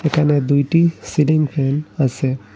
এখানে দুইটি ceiling fan আসে।